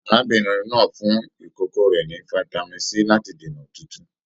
Arábìnrin náà fún ìkókó rẹ ní fitami C láti dènà òtútù.